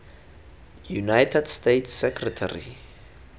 united states secretary